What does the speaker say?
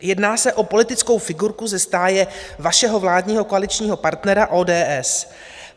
Jedná se o politickou figurku ze stáje vašeho vládního koaličního partnera ODS.